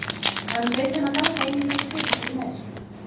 Hann bauð þeim að ganga inn í þetta fyrirtæki með sér.